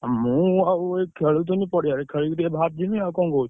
ମୁଁ ଆଉ ଏଇ ଖେଳୁଥିଲି ପଡିଆରେ ଖେଳିକି ଟିକେ ବାହାରିଯିବି ଆଉ କଣ କହୁଛ?